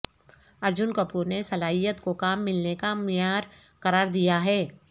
ارجن کپور نے صلاحیت کو کام ملنے کا معیار قرار دیا ہے